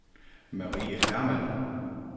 Marie Hermann